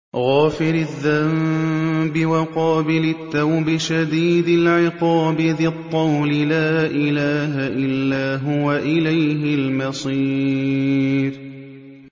غَافِرِ الذَّنبِ وَقَابِلِ التَّوْبِ شَدِيدِ الْعِقَابِ ذِي الطَّوْلِ ۖ لَا إِلَٰهَ إِلَّا هُوَ ۖ إِلَيْهِ الْمَصِيرُ